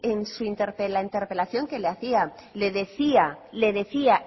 en la interpelación que le hacía le decía